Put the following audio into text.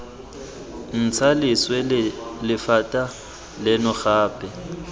ntsha leswe lephata leno gape